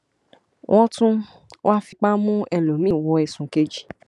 wọn tún wáá fipá mú ẹlòmíín wọ ọ ẹsùn kejì